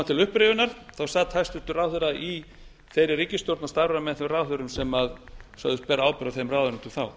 til upprifjunar sat hæstvirtur ráðherra i þeirri ríkisstjórn og starfaði með þeim ráðherrum sem sögðust bera ábyrgð á þeim ráðuneytum þá